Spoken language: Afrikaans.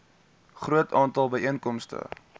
groot aantal byeenkomste